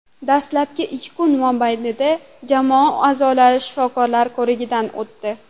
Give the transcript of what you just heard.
Dastlabki ikki kun mobaynida jamoa a’zolari shifokorlar ko‘rigidan o‘tdi.